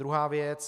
Druhá věc.